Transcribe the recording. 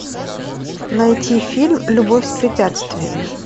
найти фильм любовь с препятствиями